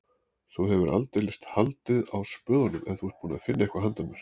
Þú hefur aldeilis haldið á spöðunum ef þú ert búinn að finna eitthvað handa mér